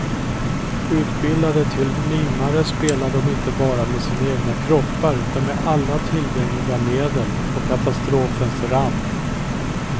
Utbildade till mimare spelar de inte bara med sina egna kroppar utan med alla tillgängliga medel, på katastrofens rand.